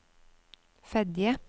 Fedje